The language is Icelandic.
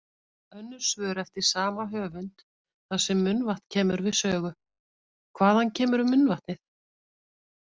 Önnur svör eftir sama höfund þar sem munnvatn kemur við sögu: Hvaðan kemur munnvatnið?